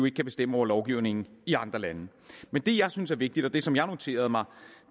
ikke kan bestemme over lovgivningen i andre lande men det jeg synes er vigtigt og det som jeg noterede mig